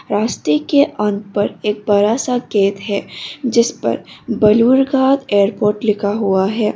रास्ते के अंत पर एक बड़ा सा गेट है जिसपर बलूर घाट एयरपोर्ट लिखा हुआ है।